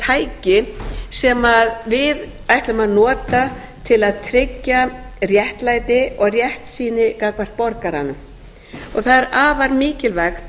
tæki sem við ætlun að nota til að tryggja réttlæti og réttsýni gagnvart borgaranum það er afar mikilvægt að